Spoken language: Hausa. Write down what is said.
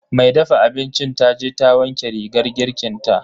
mai dafa abincin taje ta wanke rigar girkinta.